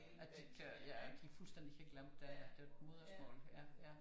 At de ikke kan ja at de fuldstændig kan glemme deres modersmål ja